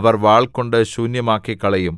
അവർ വാൾകൊണ്ടു ശൂന്യമാക്കിക്കളയും